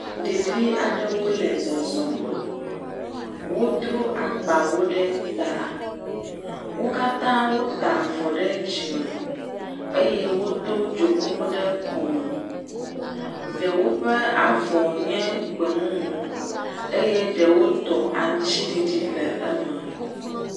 Ɖevi aɖewo le zɔzɔm. wodro agbawo ɖe ta. Wo katã wota avɔ ɖe dzime eye wodo dzonuwo ɖe kɔme. Ɖewo ƒe avɔ nye gbemumu eye ɖewo tɔ aŋtsiɖiɖi le eme.